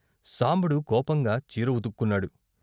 సాంబడు కోపంగా చీర ఉతుకున్నాడు.